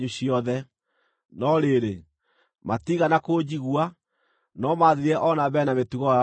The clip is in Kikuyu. No rĩrĩ, matiigana kũnjigua, no maathiire o na mbere na mĩtugo yao ya tene.